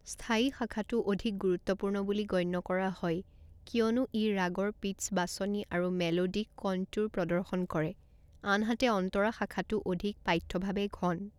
স্থায়ী শাখাটো অধিক গুৰুত্বপূৰ্ণ বুলি গণ্য কৰা হয় কিয়নো ই ৰাগৰ পিটচ্‌ বাছনি আৰু মেলোডিক কনট্যুৰ প্ৰদৰ্শন কৰে, আনহাতে অন্তৰা শাখাটো অধিক পাঠ্যভাৱে ঘন।